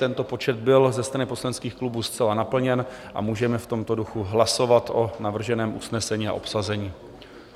Tento počet byl ze strany poslaneckých klubů zcela naplněn a můžeme v tomto duchu hlasovat o navrženém usnesení na obsazení.